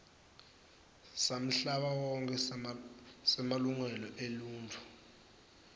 samhlabawonkhe semalungelo eluntfu